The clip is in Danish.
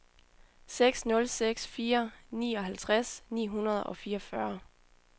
seks nul seks fire nioghalvtreds ni hundrede og fireogfyrre